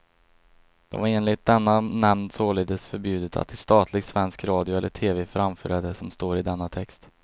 Det var enligt denna nämnd således förbjudet att i statlig svensk radio eller tv framföra det som står i denna text.